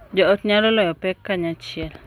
Jo ot nyalo loyo pek kanyachiel,